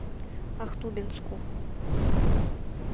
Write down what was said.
ахтубинску